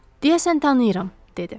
Deyəsən tanıyıram, dedi.